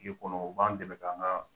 K'e kɔnɔ o b'an dɛmɛ ka an ka